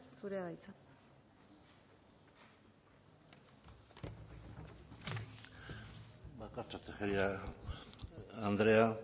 zurea da hitza bakartxo tejeria andrea